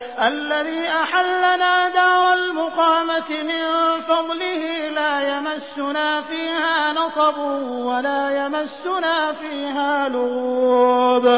الَّذِي أَحَلَّنَا دَارَ الْمُقَامَةِ مِن فَضْلِهِ لَا يَمَسُّنَا فِيهَا نَصَبٌ وَلَا يَمَسُّنَا فِيهَا لُغُوبٌ